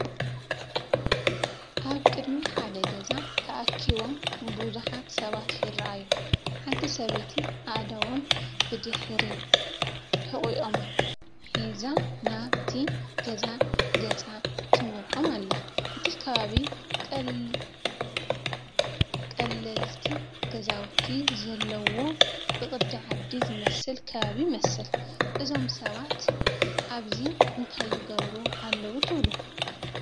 ኣብ ቅድሚ ሓደ ገዛ ተኣኪቦም ብዙሓት ሰባት ይረኣዩ። ሓንቲ ሰበይቲ ኣእዳዎም ብድሕሪ ሕቖኦም ሒዛ ናብቲ ገዛ ገጻ ትመርሖም ኣላ። እቲ ከባቢ፡ ቀለልቲ ገዛውቲ ዘለዎ ብቕዲ ዓዲ ዝመስል ከባቢ ይመስል። እዞም ሰባት ኣብዚ እንታይ ይገብሩ ኣለዉ ትብሉ?